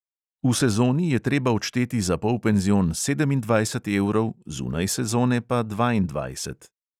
V sezoni je treba odšteti za polpenzion sedemindvajset evrov, zunaj sezone pa dvaindvajset.